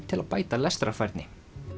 til að bæta lestrarfærni